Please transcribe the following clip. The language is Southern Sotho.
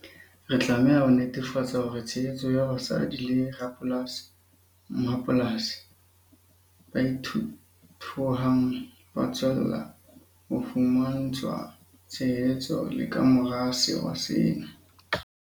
Re tlameha ho netefatsa hore tshehetso ya basadi le rapolasi-mmapolasi ba ithuthuhang ba tswella ho fumantshwa tshehetso le ka mora sewa sena.